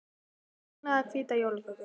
Viltu brúna eða hvíta jólaköku?